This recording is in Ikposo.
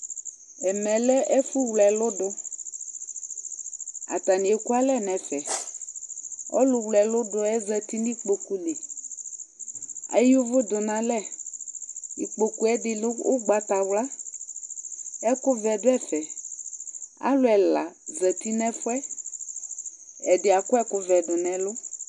Ɛmɛ lɛ ɛfʋwle ɛlʋ dʋ Atanɩ ekualɛ nʋ ɛfɛ Ɔlʋwle ɛlʋ dʋ yɛ zati nʋ ikpoku li Eyǝ ʋvʋ dʋ nʋ alɛ Ikpoku yɛ dɩ lɛ ʋgbatawla Ɛkʋvɛ dʋ ɛvɛ Alʋ ɛla zati nʋ ɛfʋ yɛ Ɛdɩ akɔ ɛkʋvɛ dʋ nʋ ɛlʋ